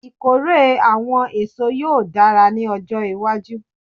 Ikore awọn eso yoo dara ni ọjọ iwaju